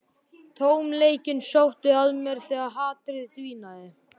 Tómleikinn sótti að mér þegar hatrið dvínaði.